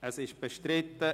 – Er ist bestritten.